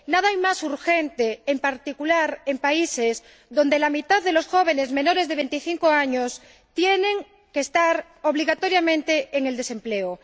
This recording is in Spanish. Nada hay más urgente, en particular en países en los que la mitad de los jóvenes menores de 25 años tienen que estar obligatoriamente en el desempleo.